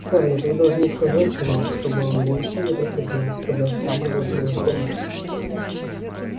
скарлетт вы должны сказать ему чтобы он больше не приходил сказать в самой вежливой форме